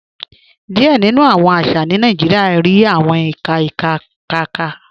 Díẹ̀ nínu awọn àṣà ní Nàìjíríà rí awọn ìkà ìkà ìkà.